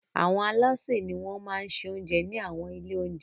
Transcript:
Àwọn alásè ni wọ́n máa se oúnjẹ ní àwọn ilé-oúnjẹ.